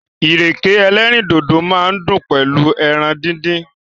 Ìrèké ẹlẹ́rìndòdò máa dùn pẹ̀lú ẹran díndín.